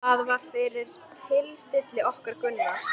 Það var fyrir tilstilli okkar Gunnars